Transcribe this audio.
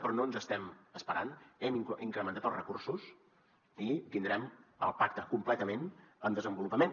però no ens estem esperant hem incrementat els recursos i tindrem el pacte completament en desenvolupament